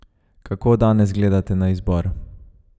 Kako danes gledate na izbor?